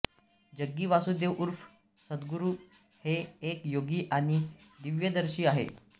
जग्गी वासुदेव उर्फ सदगुरू हे एक योगी आणि दिव्यदर्शी आहे